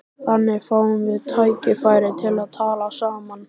Þannig fáum við tækifæri til að tala saman